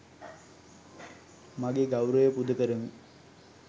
මගේ ගෞරවය පුදකරමි.